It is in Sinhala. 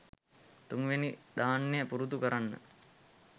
තුන්වෙනි ධ්‍යානය පුරුදු කරන්න.